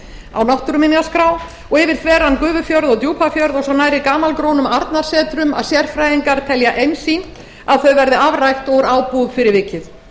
á náttúruminjaskrá og yfir þveran gufufjörð og djúpafjörð og svo nærri gamalgrónum arnarsetrum að sérfræðingar telja einsýnt að þau verði afrækt úr ábúð fyrir vikið